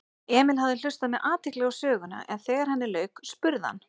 Emil hafði hlustað með athygli á söguna en þegar henni lauk spurði hann